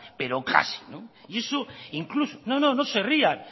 pero casi y eso incluso no no se rían